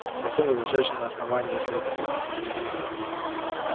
затем возвращаешься на основание если это будет необходимо